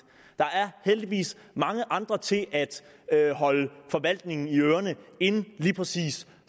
der er heldigvis mange andre til at at holde forvaltningen i ørerne end lige præcis